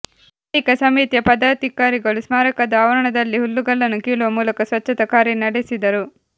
ಬಳಿಕ ಸಮಿತಿಯ ಪದಾಧಿಕಾರಿಗಳು ಸ್ಮಾರಕದ ಆವರಣದಲ್ಲಿ ಹುಲ್ಲುಗಳನ್ನು ಕೀಳುವ ಮೂಲಕ ಸ್ವಚ್ಛತಾ ಕಾರ್ಯ ನಡೆಸಿದರು